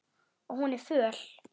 Og hún er föl.